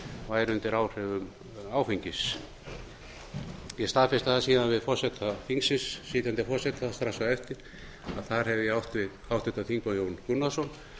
væri undir áhrifum áfengis ég staðfesti það síðan við sitjandi forseta þingsins strax á eftir að þar hefði ég átt við háttvirtur þingmaður jón gunnarsson